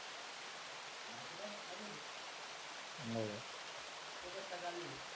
बाकी बस मजेत आहे तुअ कस काय चालू आहे